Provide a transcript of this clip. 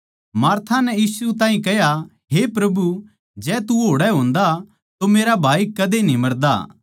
मार्था नै यीशु ताहीं कह्या हे प्रभु जै तू आड़ै होंदा तो मेरा भाई कदे न्ही मरदा